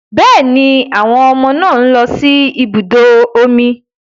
Êàê ó íàñ íåò íè÷åì íå íà÷èíàò.